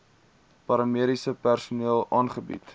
paramediese personeel aangebied